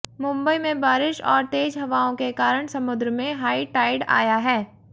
मुबंई में बारिश और तेज हवाओं के कारण समुद्र में हाई टाइड आया है